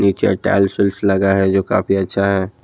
नीचे टाइलसूल्स लगा है जो काफी अच्छा है।